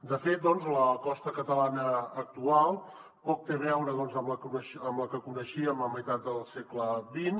de fet la costa catalana actual poc té a veure amb la que coneixíem a meitat del segle xx